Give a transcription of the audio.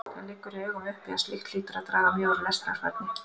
Það liggur í augum uppi að slíkt hlýtur að draga mjög úr lestrarfærni.